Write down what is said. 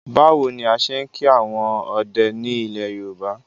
Báwo ni a ṣe ń kí àwọn ọdẹ ni ilẹ̀ Yorùbá?